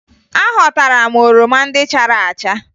Aghọtara m oroma ndị chara acha